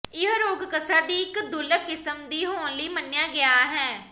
ਇਹ ਰੋਗ ਕਸਰ ਦੀ ਇੱਕ ਦੁਰਲੱਭ ਕਿਸਮ ਦੀ ਹੋਣ ਲਈ ਮੰਨਿਆ ਗਿਆ ਹੈ